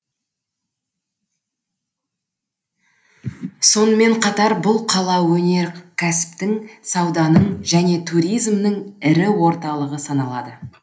сонымен қатар бұл қала өнеркәсіптің сауданың және туризмнің ірі орталығы саналады